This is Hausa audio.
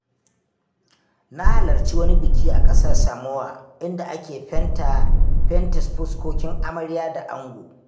Na halarci wani biki a ƙasar Samoa inda ake fente fuskokin amarya da ango.